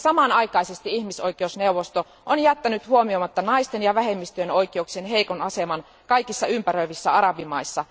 Samanaikaisesti ihmisoikeusneuvosto on jättänyt huomioimatta naisten ja vähemmistöjen oikeuksien heikon aseman kaikissa ympäröivissä arabimaissa.